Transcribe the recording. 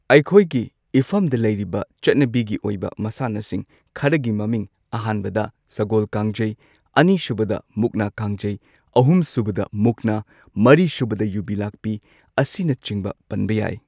ꯑꯩꯈꯣꯏꯒꯤ ꯏꯐꯝꯗ ꯂꯩꯔꯤꯕ ꯆꯠꯅꯕꯤꯒꯤ ꯑꯣꯏꯕ ꯃꯁꯥꯟꯅꯁꯤꯡ ꯈꯔꯒꯤ ꯃꯃꯤꯡ ꯑꯍꯥꯟꯕꯗ ꯁꯒꯣꯜ ꯀꯥꯡꯖꯩ ꯑꯅꯤꯁꯨꯕꯗ ꯃꯨꯛꯅꯥ ꯀꯥꯡꯖꯩ ꯑꯍꯨꯝꯁꯨꯕꯗ ꯃꯨꯛꯅꯥ ꯃꯔꯤꯁꯨꯕꯗ ꯌꯨꯕꯤ ꯂꯥꯛꯄꯤ ꯑꯁꯤꯅꯆꯤꯡꯕ ꯄꯟꯕ ꯌꯥꯏ꯫